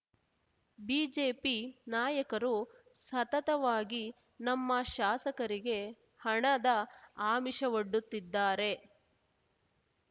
BJP ನಾಯಕರು ಸತತವಾಗಿ ನಮ್ಮ ಶಾಸಕರಿಗೆ ಹಣದ ಆಮಿಷವೊಡ್ಡುತ್ತಿದ್ದಾರೆ